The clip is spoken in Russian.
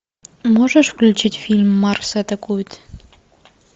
можешь включить фильм марс атакует